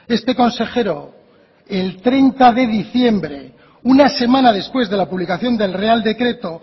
este consejero el treinta de diciembre una semana después de la publicación del real decreto